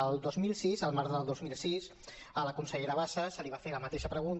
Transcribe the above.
el dos mil sis al març del dos mil sis a la consellera bassa se li va fer la mateixa pregunta